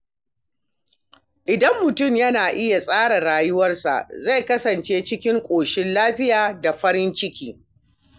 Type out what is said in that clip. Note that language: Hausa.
Idan mutum yana iya tsara rayuwarsa, zai kasance cikin ƙoshin lafiya da farin ciki.